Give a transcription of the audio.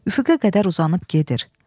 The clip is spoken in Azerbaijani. Üfüqə qədər uzanıb gedir.